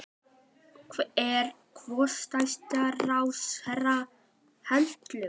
Er forsætisráðherra hættulegur?